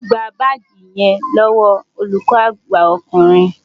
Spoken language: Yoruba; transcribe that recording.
Gba báàgì yẹn lọ́wọ́ olùkọ́ àgbà ọkùnrin!